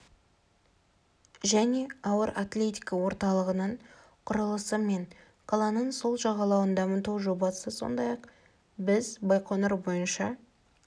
және ауыр атлетика орталығының құрылысы мен қаланың сол жағалауын дамыту жобасы сондай-ақ біз байқоңыр бойынша